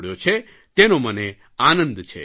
તેનો મને આનંદ છે